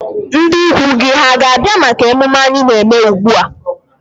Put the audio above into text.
Ndị ikwu gị hà ga-abịa maka ememme anyị na-eme ugbu a?